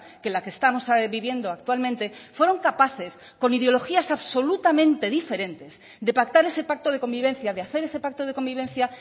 que la que estamos viviendo actualmente fueron capaces con ideologías absolutamente diferentes de pactar ese pacto de convivencia de hacer ese pacto de convivencia